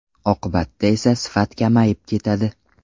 Oqibatda esa sifat kamayib ketadi.